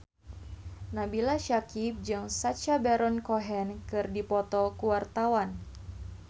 Nabila Syakieb jeung Sacha Baron Cohen keur dipoto ku wartawan